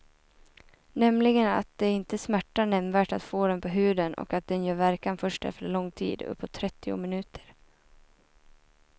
Nämligen att det inte smärtar nämnvärt att få den på huden och att den gör verkan först efter lång tid, uppåt trettio minuter.